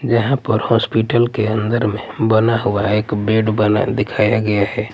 जहां पर हॉस्पिटल के अन्दर में बना हुआ एक बेड बना दिखाया गया है।